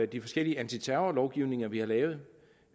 de forskellige antiterrorlovgivninger vi har lavet